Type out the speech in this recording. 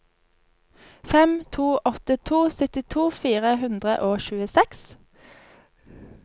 fem to åtte to syttito fire hundre og tjueseks